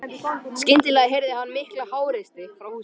Skyndilega heyrði hann mikla háreysti frá húsinu.